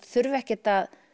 þurfa ekkert að